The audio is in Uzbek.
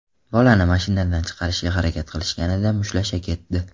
Bolani mashinadan chiqarishga harakat qilishganida mushtlasha ketdi.